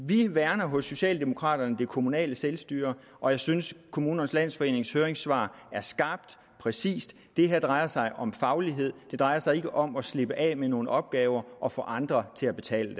vi værner hos socialdemokraterne om det kommunale selvstyre og jeg synes kommunernes landsforenings høringssvar er skarpt og præcist det her drejer sig om faglighed det drejer sig ikke om at slippe af med nogle opgaver og få andre til at betale